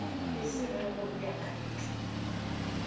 e se ge go beakantwe